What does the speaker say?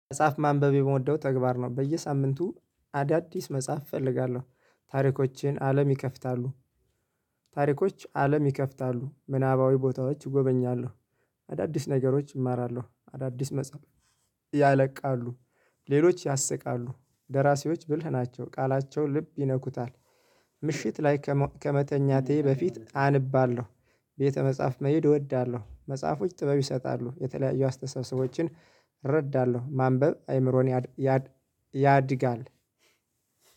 መጽሐፍ ማንበብ የምወደው ተግባር ነው። በየሳምንቱ አዳዲስ መጽሐፍ እፈልጋለሁ ታሪኮችን አለም ይከፍታሉ። ታሪኮች አለም ይከፍታሉ ምናባዊ ቦታዎች እጎበኛለሁ። አዳዲስ ነገሮች እማራለሁ። አዳዲስ መጽሐፍ ያለቃሉ። ሌሎች ያሰቃሉ ደራሲዎች ብልህ ናቸው ቃላቸው ልብ ይነኩታል። ምሽት ላይ ከመተኛቴ በፊት አንባለሁ። ቤተ መጻፍ መሄድ እወዳለሁ። መጽሐፎች ጥበብ ይሰጣሉ የተለያዩ አስተሳሰቦችን። እረዳለሁ ማንበብ አይምሮን ያድ ያድጋል።